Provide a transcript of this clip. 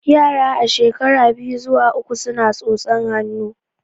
Yara a shekara biyu zuwa uku suna tsotsan hannu